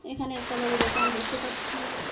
এখানে একটা বড় দোকান দেখতে পাচ্ছি।